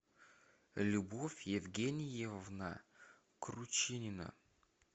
любовь евгеньевна кручинина